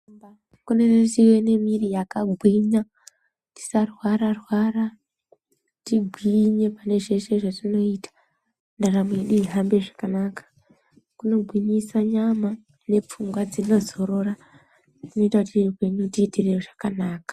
Kuneeehe miri yakagwinya yisarwara rwara tigwinye pane zveshe zvatinoita ndaramo yedu ihambe zvakanaka kunogwinyisa nyama nepfungwa dzinozorora kuita kuti upenyu tiitire zvakanaka.